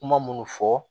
Kuma munnu fɔ